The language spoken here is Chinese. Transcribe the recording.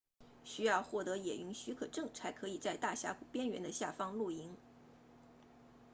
需要获得野营许可证才可以在大峡谷边缘的下方露营